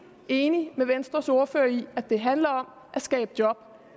enig med venstres ordfører i at det handler om at skabe job og